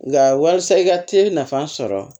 Nka walasa i ka te nafa sɔrɔ